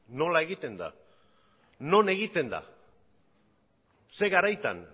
non egiten da zein garaitan